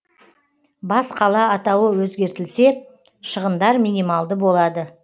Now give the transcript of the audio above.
бас қала атауы өзгертілсе шығындар минималды болады